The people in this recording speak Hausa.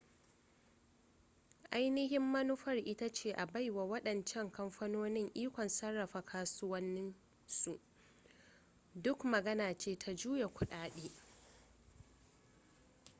ainihin manufar ita ce a baiwa waɗancan kamfanoni ikon sarrafa kasuwannin su duk magana ce ta juya kudade